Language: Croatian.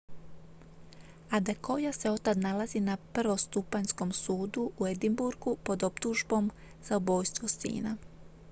adekoya se otad nalazi na prvostupanjskom sudu u edinburghu pod optužbom za ubojstvo sina